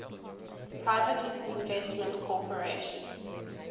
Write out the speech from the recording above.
private investment corporation